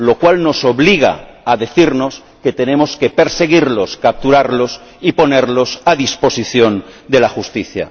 lo cual nos obliga a decirnos que tenemos que perseguirlos, capturarlos y ponerlos a disposición de la Justicia.